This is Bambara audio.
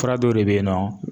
Fura dɔw de bɛ yen nɔ